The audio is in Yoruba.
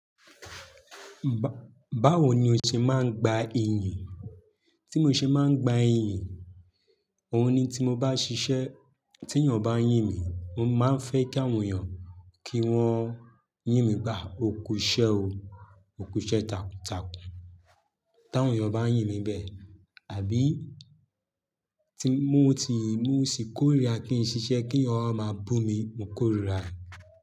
Ba-bawo ni o ṣe máa ń gba iyì? Tí mo ṣe máa ń gba ìyìn? Òun ni tí mo bá ṣiṣẹ́ tí èèyàn bá yìn mí mo máa ń fẹ́ kí wọn yìn mí pé òkú iṣẹ́ o òkú iṣẹ́ takun takun. Tí àwọn ènìyàn bá yìn mí bẹ́ẹ̀, àbí tí mo ti, mo sì kórìíra kí n ṣiṣẹ́ kí ènìyàn máa bù mí, mo kórìíra.